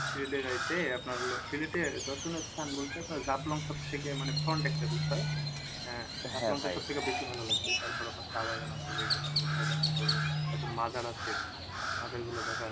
সিলেটের যাইতে আপনার হলো সিলেটে দর্শনীয় স্থান বলতে আপনার সবথেকে মানে একটা বিষয় আহ বেশি ভালো লাগবে তারপর আপনার চা বাগান আছে যেগুলা ঐগুলো দেখা হবে তারপর মাজার আছে মাজার গুলো দেখা